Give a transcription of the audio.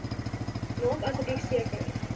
maak asseblief seker